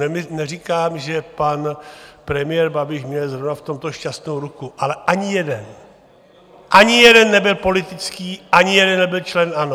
Neříkám, že pan premiér Babiš měl zrovna v tomto šťastnou ruku, ale ani jeden, ani jeden nebyl politický, ani jeden nebyl člen ANO!